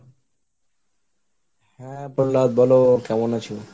হ্যাঁ, প্রল্লাদ বলো কেমন আছো?